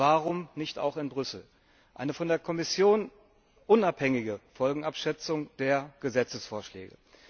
Warum nicht auch in Brüssel eine von der Kommission unabhängige Folgenabschätzung der Gesetzesvorschläge?